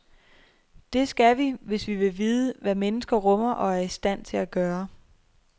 Det skal vi, hvis vi vil vide, hvad mennesker rummer og er i stand til at gøre.